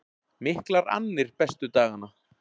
Miklar annir bestu dagana